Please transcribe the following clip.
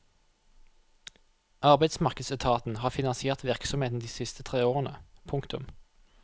Arbeidsmarkedsetaten har finansiert virksomheten de siste tre årene. punktum